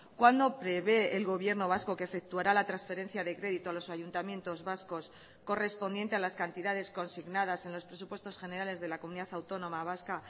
cuándo prevé el gobierno vasco que efectuará la transferencia de crédito a los ayuntamientos vascos correspondiente a las cantidades consignadas en los presupuestos generales de la comunidad autónoma vasca